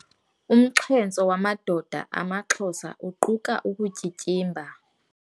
Umxhentso wamadoda amaXhosa uquka ukutyityimba.